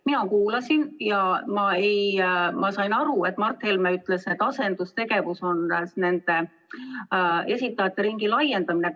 Mina kuulasin ja sain aru, et Mart Helme ütles, et asendustegevus on esitajate ringi laiendamine.